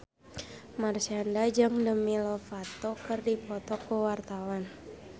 Marshanda jeung Demi Lovato keur dipoto ku wartawan